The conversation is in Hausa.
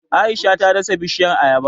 Aisha ta dasa bishiyar Ayaba